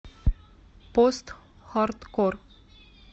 постхардкор